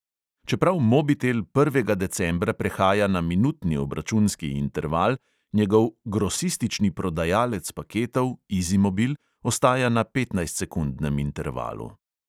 Čeprav mobitel prvega decembra prehaja na minutni obračunski interval, njegov "grosistični prodajalec paketov" izimobil ostaja na petnajstsekundnem intervalu.